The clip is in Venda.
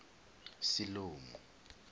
siḽomu